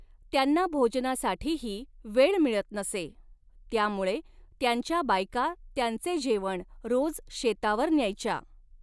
त्यांना भोजनासाठीही वेळ मिळत नसे, त्यामुळे त्यांच्या बायका त्यांचे जेवण रोज शेतावर न्यायच्या.